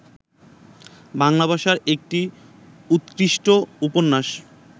বাংলাভাষার একটি উত্কৃষ্ট উপন্যাস